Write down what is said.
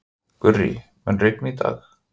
Gurrí, mun rigna í dag?